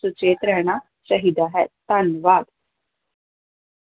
ਸੁਚੇਤ ਰਹਿਣਾ ਚਾਹੀਦਾ ਹੈ, ਧੰਨਵਾਦ।